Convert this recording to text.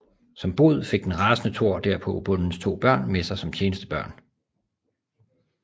Som bod fik den rasende Thor derpå bondens to børn med sig som tjenestefolk